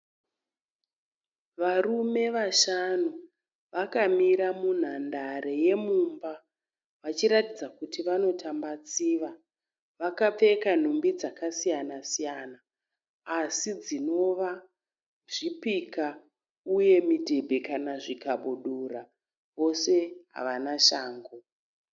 Varume vashanu vakamira munhandare yemumba vachiratidza kuti vanotamba tsiva. Vakapfeka nhumbi dzakasiyana siyana asi dzinova zvipika uye midhebhe kana zvikabudura. Vose havana shangu.